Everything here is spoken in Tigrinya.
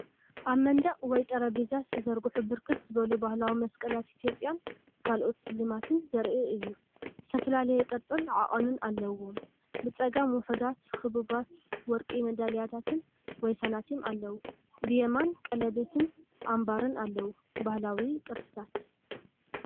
ኣብ መንደቕ ወይ ጠረጴዛ ዝተዘርግሑ ብርክት ዝበሉ ባህላዊ መስቀላት ኢትዮጵያን ካልኦት ስልማትን ዘርኢ እዩ። ዝተፈላለየ ቅርጽን ዓቐንን ኣለዎም። ብጸጋም ውሑዳት ክቡባት ወርቂ መዳልያታት ወይ ሳንቲም ኣለዉ። ብየማን ቀለቤትን ኣምባርን ኣሎ። ባህላዊ ቅርስታት!